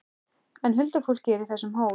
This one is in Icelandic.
En huldufólkið er í þessum hól!